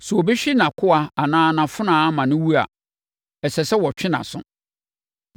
“Sɛ obi hwe nʼakoa anaa nʼafenawa ma no wu a, ɛsɛ sɛ wɔtwe nʼaso.